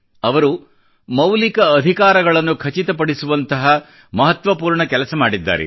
ಅವರು ಮೌಲಿಕ ಅಧಿಕಾರಗಳನ್ನು ಖಚಿತ ಪಡಿಸುವಂಥ ಮಹತ್ವಪೂರ್ಣ ಕೆಲಸ ಮಾಡಿದ್ದಾರೆ